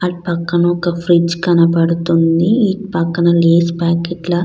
అటు పక్కన ఒక ఫ్రిజ్ కనబడుతుంది. ఇటు పక్కన లక్స్ ప్యాకెట్ ల--